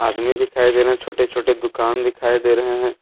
आदमी दिखाई दे रहे हैं छोटे छोटे दुकान दिखाई दे रहे हैं।